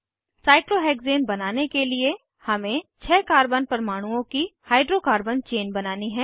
cyclohexane बनाने के लिए हमें छः कार्बन परमाणुओं की हाइड्रोकार्बन चेन बनानी है